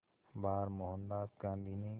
बार मोहनदास गांधी ने